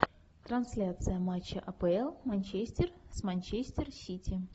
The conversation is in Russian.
трансляция матча апл манчестер с манчестер сити